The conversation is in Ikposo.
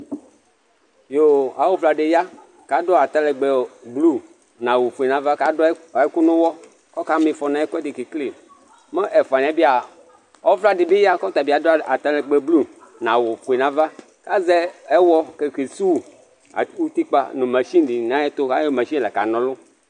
Awʊvla dɩ ya ka dʊ atalɛgbɛ blʊ nawʊ fʊe nava ka dʊ ɛkʊ nʊyɔ, kɔka mɩfɔ nɛkʊɛdɩ kekele Mɛ ɛfʊanɩ yɛ bɩa ɔvla dɩ ya kɔtabɩ adʊ atalɛgbɛ blʊ nawʊ fʊe nava Azɛ ɛyɔ ke sʊwʊ ʊtikpa Ayɔ mashɩnɩ ka nɔlʊ